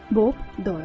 Bob Doyol.